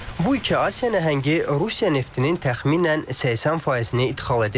Bu iki Asiya nəhəngi Rusiya neftinin təxminən 80 faizini idxal edir.